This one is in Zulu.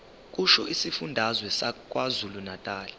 kusho isifundazwe sakwazulunatali